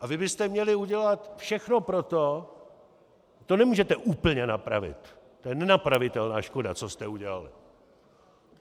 A vy byste měli udělat všechno pro to - to nemůžete úplně napravit, to je nenapravitelná škoda, co jste udělali.